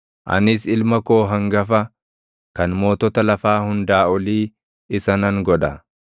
Anis ilma koo hangafa, kan mootota lafaa hundaa olii isa nan godha.